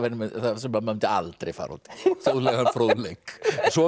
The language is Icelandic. mundi maður aldrei fara út í þjóðlegan fróðleik svo